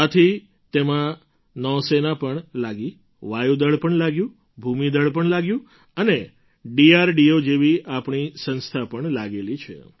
આથી તેમાં નૌ સેના પણ લાગી વાયુ દળ પણ લાગ્યું ભૂમિ દળ પણ લાગ્યું અને ડીઆરડીઓ જેવી આપણી સંસ્થા પણ લાગેલી છે